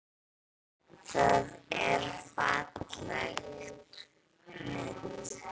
Það er falleg mynd.